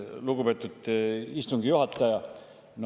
Lugupeetud istungi juhataja!